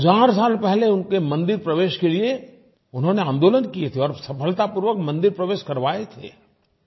हज़ार साल पहले उनके मंदिर प्रवेश के लिये उन्होंने आंदोलन किये थे और सफलतापूर्वक मंदिर प्रवेश करवाये थे